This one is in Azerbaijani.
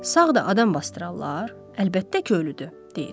Sağ da adam basdırarlar, əlbəttə ki ölüdür, deyir.